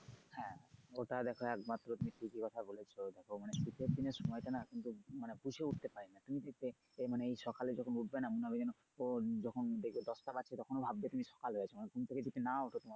হ্যা ওটা দেখো একমাত্র তুমি ঠিকই কথা বলেছো তো মানে শীতের দিনে সময়টা না মানে বুঝে উঠতে পায় না তুমি ঠিক এই মানে এই সকালে যখন উঠবে না মনে হবে যেন যখন উম দশটা বাজে তখনও ভাববে তুমি সকাল হচ্ছে না ঘুম থেকে যদি না উঠো তোমার।